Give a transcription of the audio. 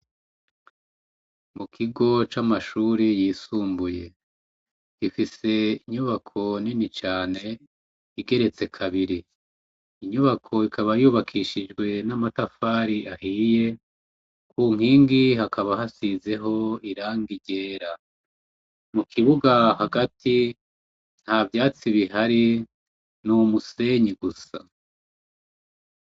Mukigo camashure yisumbuye gifise inyubako nini cane igeretse kabiri inyubako ikaba yu akishijwe namatafari ahiye kunkigi hakaba hasizeho irangi ryera mukibuga hagati ntavyazi bihari numusenyi gusa